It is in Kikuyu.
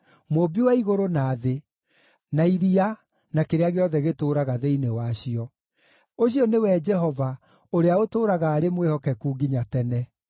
Mũũmbi wa igũrũ na thĩ, na iria, na kĩrĩa gĩothe gĩtũũraga thĩinĩ wacio: ũcio nĩwe Jehova, ũrĩa ũtũũraga arĩ mwĩhokeku nginya tene.